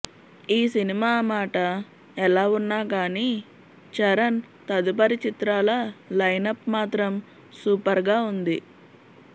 ఈ సినిమా మాట ఎలా వున్నా కానీ చరణ్ తదుపరి చిత్రాల లైనప్ మాత్రం సూపర్గా వుంది